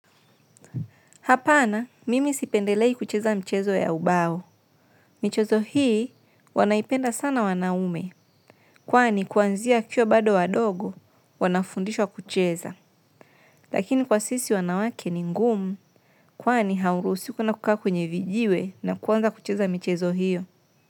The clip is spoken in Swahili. Hapana, mimi sipendelei kucheza mchezo ya ubao. Michezo hii, wanaipenda sana wanaume. Kwani, kuanzia akiwa bado wadogo, wanafundishwa kucheza. Lakini kwa sisi wanawake ni ngumu, kwani haurusiwi kwenda kukaa kwenye vijiwe na kuanza kucheza michezo hiyo.